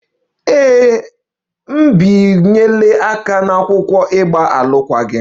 Ee, m bịanyere aka n'akwụkwọ ịgba alụkwaghịm